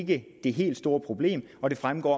det helt store problem og det fremgår